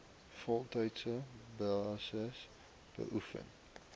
voltydse basis beoefen